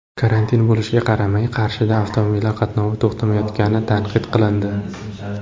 Karantin bo‘lishiga qaramay, Qarshida avtomobillar qatnovi to‘xtamayotgani tanqid qilindi.